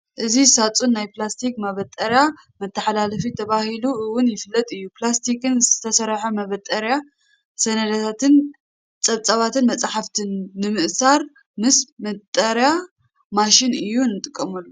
እዚ ሳጹን ናይ ፕላስቲክ ማበጠሪያ መተሓላለፊ ተባሂሉ እውን ይፍለጥ እዩ። ብፕላስቲክ ዝተሰርሐ ማበጠሪያ ሰነዳትን ፀብፃባትን መጻሕፍትን ንምእሳር ምስ ማበጠሪያ ማሽን እዩ ንጥቀመሉ።